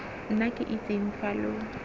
nna ke itseng fa lo